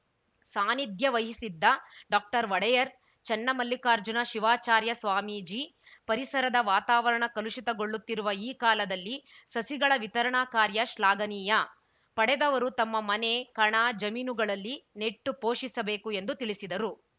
ಸಾನಿಧ್ಯವಹಿಸಿದ್ದ ಡಾಕ್ಟರ್ಒಡೆಯರ್‌ ಚನ್ನಮಲ್ಲಿಕಾರ್ಜುನ ಶಿವಾಚಾರ್ಯ ಸ್ವಾಮೀಜಿ ಪರಿಸರದ ವಾತಾವರಣ ಕಲುಷಿತಗೊಳ್ಳುತ್ತಿರುವ ಈ ಕಾಲದಲ್ಲಿ ಸಸಿಗಳ ವಿತರಣಾ ಕಾರ್ಯ ಶ್ಲಾಘನೀಯ ಪಡೆದವರು ತಮ್ಮ ಮನೆ ಕಣ ಜಮೀನುಗಳಲ್ಲಿ ನೆಟ್ಟು ಪೋಷಿಸಬೇಕು ಎಂದು ತಿಳಿಸಿದರು